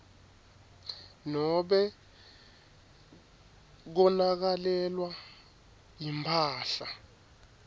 nobe konakalelwa yimphahla